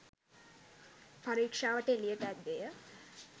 පරීක්ෂාවට එළියට ඇද්දේය.